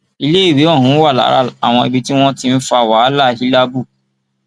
iléèwé ọhún wà lára àwọn ibi tí wọn ti ń fa wàhálà hílààbù